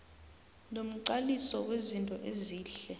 nomqaliso wezinto ezihle